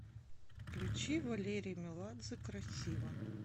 включи валерий меладзе красиво